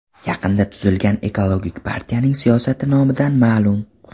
Yaqinda tuzilgan Ekologik partiyaning siyosati nomidan ma’lum.